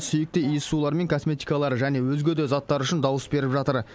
сүйікті иіссулары мен косметикалары және өзге де заттар үшін дауыс беріп жатыр